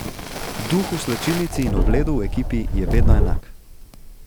Duh v slačilnici in ob ledu v ekipi je vedno enak.